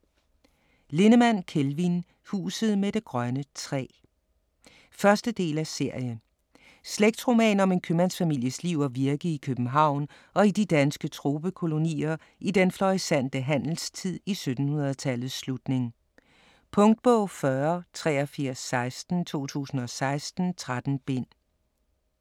Lindemann, Kelvin: Huset med det grønne træ 1. del af serie. Slægtsroman om en købmandsfamilies liv og virke i København og i de danske tropekolonier i den florissante handelstid i 1700-tallets slutning. Punktbog 408316 2016. 13 bind.